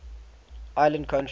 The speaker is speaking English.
island countries